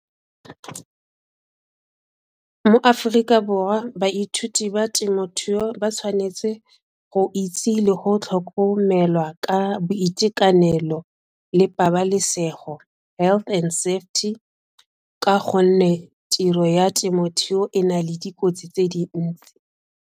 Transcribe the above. Mo Aforika Borwa baithuti ba temothuo ba tshwanetse go itse le go tlhokomelwa ka boitekanelo le pabalesego health and safety ka gonne tiro ya temothuo e na le dikotsi tse dintsi.